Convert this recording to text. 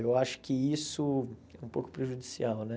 Eu acho que isso é um pouco prejudicial, né?